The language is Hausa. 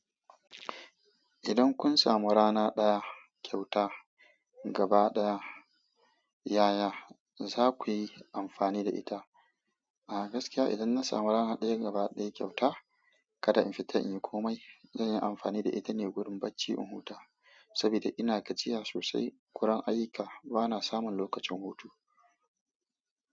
Idan kun samu rana ɗaya kyauta gaba ɗaya, yaya za ku yi amfani da ita? A gaskiya idan na samu rana ɗaya gaba ɗaya kyauta, kada in fita in yi komai, zan yi amfani da ita ne wurin bacci in huta. Saboda ina gajiya sosai, guran ayyuka bana samun lokacin hutu.